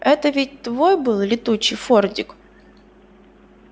это ведь твой был летучий фордик